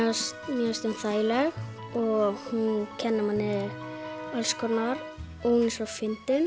mér finnst hún þægileg og hún kennir manni alls konar og hún er svo fyndin